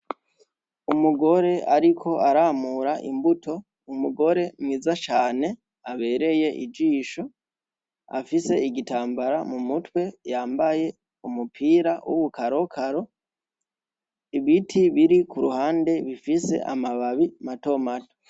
Umugore ariko aramura imbuto, ni umugore mwiza cane, abereye ijisho, afise igitambara mu mutwe, yambaye umupira w'ubukarakaro, ibiti biri ku ruhande bifise amababi mato mato.